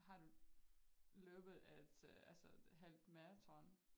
Har du løbet et altså halvmaraton?